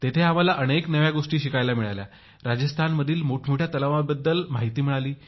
तेथे आम्हाला अनेक नव्या गोष्टी शिकायला मिळाल्या राजस्थानातील मोठमोठ्या तलावांबाबत माहिती मिळाली